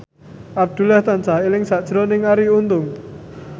Abdullah tansah eling sakjroning Arie Untung